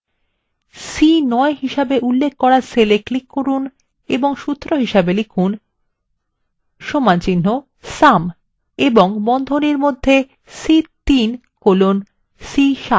c9 হিসেবে উল্লেখ করা cell এ click করুন এবং সূত্র লিখুন is equal to sum এবং র্বন্ধনীর মধ্যে c3 colon c7